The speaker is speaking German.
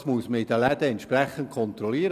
Das muss man in den Läden kontrollieren.